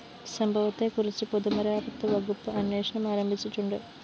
സംഭവത്തെക്കുറിച്ച് പൊതുമരാമത്ത് വകുപ്പ് അന്വേഷണം ആരംഭിച്ചിട്ടുണ്ട്